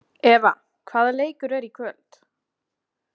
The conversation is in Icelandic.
Eva, hvaða leikir eru í kvöld?